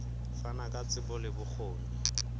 fana ka tsebo le bokgoni